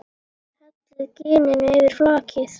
Hellið gininu yfir flakið.